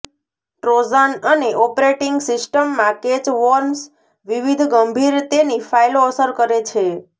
Trojan અને operating સિસ્ટમમાં કેચ વોર્મ્સ વિવિધ ગંભીર તેની ફાઇલો અસર કરે છે